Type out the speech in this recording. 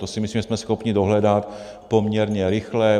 To si myslím, že jsme schopni dohledat poměrně rychle.